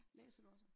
Læser du også?